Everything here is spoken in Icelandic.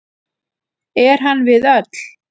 Er hann við öll.